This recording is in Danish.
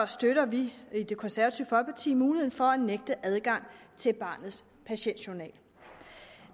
støtter vi i det konservative folkeparti muligheden for at nægte adgang til barnets patientjournal